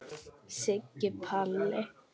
Siggi Palli.